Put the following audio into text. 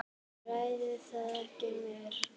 Ræðum það ekki meir.